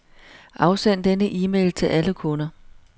Afsend denne e-mail til alle kunder.